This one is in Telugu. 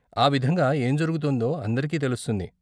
ఆ విధంగా ఏం జరుగుతోందో అందరికీ తెలుస్తుంది.